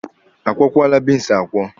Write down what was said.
A kwọkwaala beans akwọ?